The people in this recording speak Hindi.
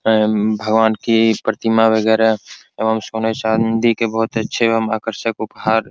एम्म भगवान की प्रतिमा वगैरा एवं सोने चांदी के बहुत अच्छे एवं आकर्षक उपहार --